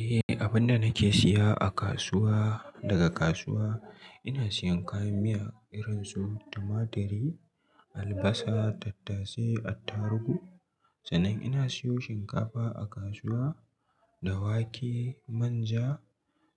Eh, abunda nake siya a kasuwa daga kasuwa ina siyan kayan miya irin su tumaturi, albasa, tattase, attaruhu sannan ina siyo shinkafa a kasuwa da wake, manja